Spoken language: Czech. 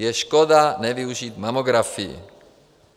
Je škoda nevyužít mamografii.